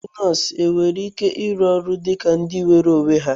Ndị nọọsụ nwere ike ịrụ ọrụ dị ka ndị nweere onwe ha?